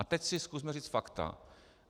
A teď si zkusme říct fakta.